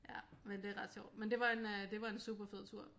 Ja men det er ret sjovt men det var en øh en super fed tur